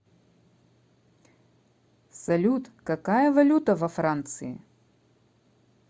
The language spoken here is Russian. салют какая валюта во франции